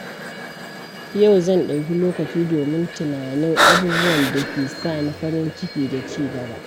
Yau zan ɗauki lokaci domin tunanin abubuwan dake sa ni farin ciki da ci gaba.